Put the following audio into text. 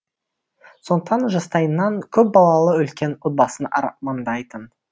сондықтан жастайынан көп балалы үлкен отбасын армандайтын